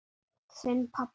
Þinn, pabbi.